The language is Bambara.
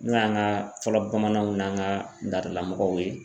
N'o y'an ka fɔlɔ bamananw n'an ka ladala mɔgɔw ye.